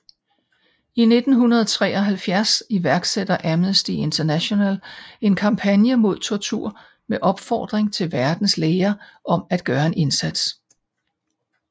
I 1973 iværksætter Amnesty International en kampagne mod tortur med opfordring til verdens læger om at gøre en indsats